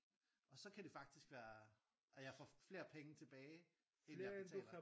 Og så kan det faktisk være og jeg får flere penge tilbage end jeg betaler